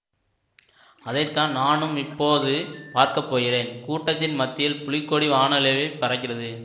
அதை தான் நானும் இப்போது பார்க்க போகிறேன் கூட்டத்தின் மத்தியில் புலிக்கொடி வானளாவிப் பறக்கிறது